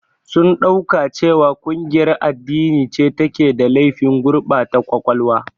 Sun ɗauka cewa ƙungiyar addini ce take da laifin gurbata ƙwaƙwalwa.